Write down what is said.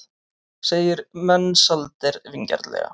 segir Mensalder vingjarnlega.